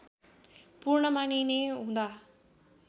पूर्ण मानिने हुँदा